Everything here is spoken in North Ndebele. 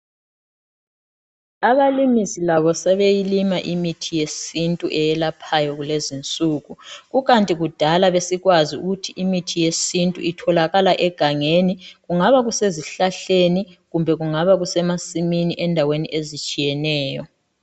Abalimisi labo sebeyilima imithi yesintu elaphayo lezinsuku. Kunkathi kudala sasikwazi ukuthi imithi yesintu itholakala egangeni. Kungaba kusezihlahleni, kumbe kungaba kusemasimini ezindaweni ezitshiyeneyo.